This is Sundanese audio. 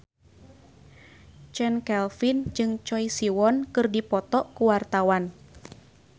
Chand Kelvin jeung Choi Siwon keur dipoto ku wartawan